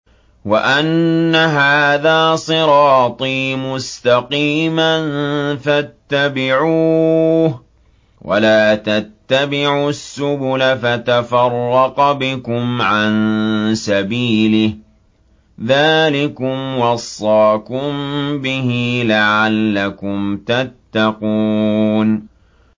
وَأَنَّ هَٰذَا صِرَاطِي مُسْتَقِيمًا فَاتَّبِعُوهُ ۖ وَلَا تَتَّبِعُوا السُّبُلَ فَتَفَرَّقَ بِكُمْ عَن سَبِيلِهِ ۚ ذَٰلِكُمْ وَصَّاكُم بِهِ لَعَلَّكُمْ تَتَّقُونَ